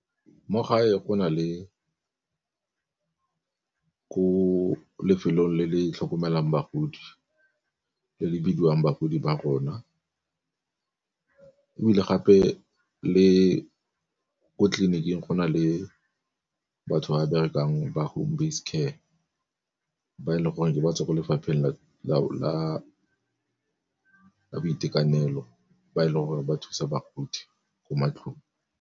Mo gae go na le ko lefelong le le tlhokomelang bagodi le le bidiwang Bagodi ba rona, ebile gape le ko tleliniking go na le batho ba berekang ba home base care ba e leng gore ke batswa kwa lefapheng la boitekanelo ba e leng gore ba thusa bagodi ko matlong.